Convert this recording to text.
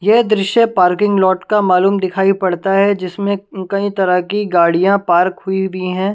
यह दृश्य parking lot का मालूम दिखाई पड़ता है जिसमें कई तरह की गाड़ियां पार्क हुई भी हैं ।